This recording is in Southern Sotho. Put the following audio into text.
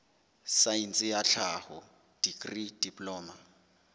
saense ya tlhaho dikri diploma